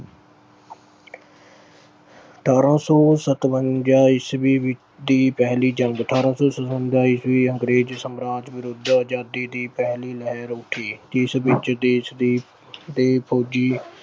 ਅਠ੍ਹਾਰਾਂ ਸੌ ਸੱਤਵੰਜਾ ਈਸਵੀ ਅਹ ਦੀ ਪਹਿਲੀ ਜੰਗ ਧਾਰਾ ਉੱਨੀ ਸੌ ਸਤਵੰਜਾ ਅੰਗਰੇਜ਼ ਸਮਰਾਜ ਵਿਰੁੱਧ ਅਜ਼ਾਦੀ ਦੀ ਪਹਿਲੀ ਲਹਿਰ ਉੱਠੀ ਜਿਸ ਵਿੱਚ ਦੇਸ਼ ਦੇ ਅਹ ਦੇ ਫੌਜੀ